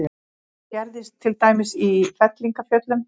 Þetta gerist til dæmis í fellingafjöllum.